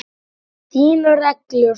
Þínar reglur?